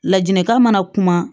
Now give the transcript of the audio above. Ladilikan mana kuma